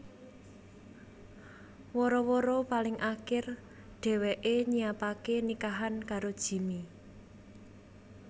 Wara wara paling akir dheweké nyiapaké nikahan karo Jimmy